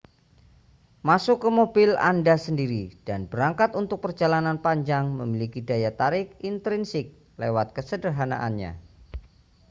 masuk ke mobil anda sendiri dan berangkat untuk perjalanan panjang memiliki daya tarik intrinsik lewat kesederhanaannya